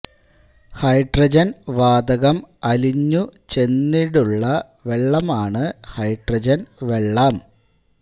hydrogen വാതകം അലിഞ്ഞു ചെന്നിടുള്ള വെള്ളം ആണ് ഹൈഡ്രജൻ വെള്ളം